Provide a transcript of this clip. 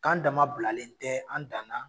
K'an dama bilalen tɛ an dan na